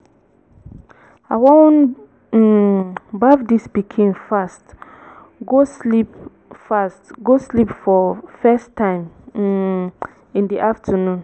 i wan um baff dis pikin fast go sleep fast go sleep for first time um in the afternoon